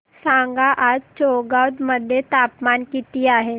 सांगा आज चौगाव मध्ये तापमान किता आहे